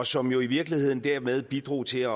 som jo i virkeligheden dermed bidrog til at